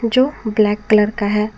जो black colour का है।